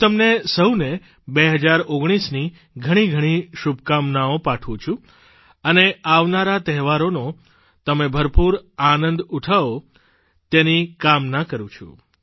હું તમને સહુને 2019ની ઘણી ઘણી શુભકામનાઓ પાઠવું છું અને આવનારા તહેવારોનો તમે ભરપૂર આનંદ ઉઠો તેની કામના કરૂં છું